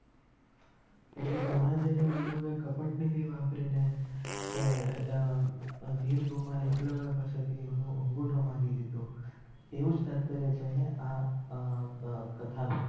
એટલે દ્રોણાચાર્ય ગુરુ એ કપટ નીતિ વાપરી ને એ અ હમ ભીલકુમાર એકલવ્ય પાસે થી અંગુઠો માંગી લીધો એવુજ તાત્પર્ય છે ને આ અ કથા નો